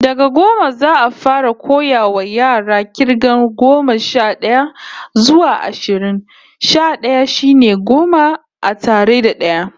Daga goma, za'a fara koyawa yara k'irgar goma sha d'aya zuwa ashirin. Sha d'aya shine goma a tara da d'aya